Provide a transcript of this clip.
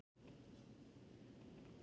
Nei það geri ég ekki.